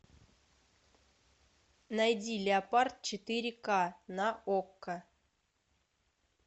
найди леопард четыре ка на окко